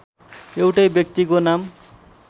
एउटै व्यक्तिको नाम